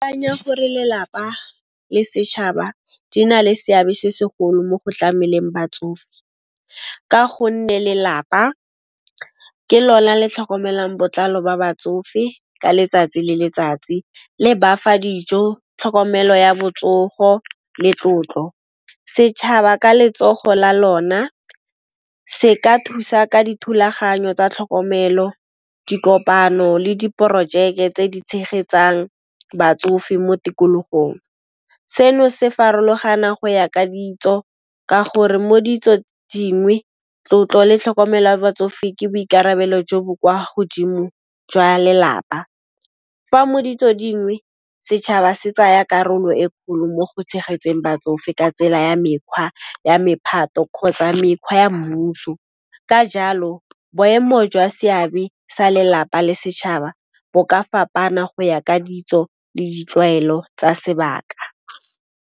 Gore lelapa le setšhaba di na le seabe se segolo mo go tlameleng batsofe ka go nne lelapa ke lona le tlhokomelang botlalo ba batsofe ka letsatsi le letsatsi, le ba fa dijo, tlhokomelo ya botsogo le tlotlo. Setšhaba ka letsogo la lona se ka thusa ka dithulaganyo tsa tlhokomelo, dikopano le diporojeke tse di tshegetsang batsofe mo tikologong. Seno se farologana go ya ka ditso ka gore mo ditso dingwe tlotlo le tlhokomel'a batsofe ke boikarabelo jo bo kwa godimo jwa lelapa, fa mo ditso dingwe setšhaba se tsaya karolo e kgolo mo go tshegetseng batsofe ka tsela ya mekhwa ya mephato kgotsa mekhwa ya mmuso. Ka jalo boemo jwa seabe sa lelapa le setšhaba bo ka fapana go ya ka ditso le ditlwaelo tsa sebaka.